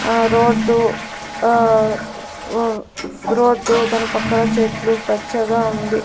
ఆ రోడ్డు ఆ ఉ రోడ్డు దాని పక్కన చెట్లు పచ్చగా ఉంది.